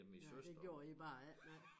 Ja det gjorde I bare ikke nej